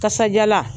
Kasajalan